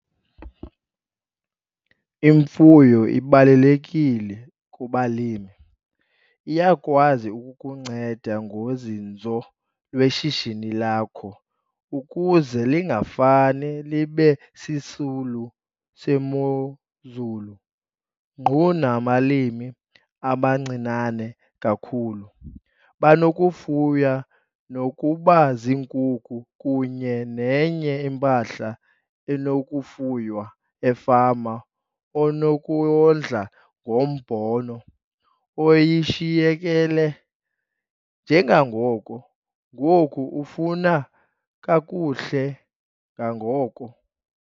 Imfuyo ibalulekile kubalimi - iyakwazi ukukunceda ngozinzo lweshishini lakho ukuze lingafane libe sisulu semozulu. Ngqu nabalimi abancinane kakhulu, banokufuya nokuba ziinkukhu kunye nenye impahla enokufuywa efama onokuyondla ngombona oyishiyekele, njengangoku ngoku ufuna kakuhle nangoko.